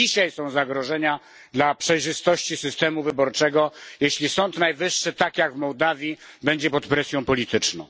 To dzisiaj są zagrożenia dla przejrzystości systemu wyborczego, jeśli Sąd Najwyższy, tak jak w Mołdawii, będzie pod presją polityczną.